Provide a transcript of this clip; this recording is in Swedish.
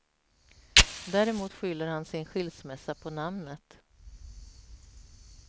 Däremot skyller han sin skilsmässa på namnet.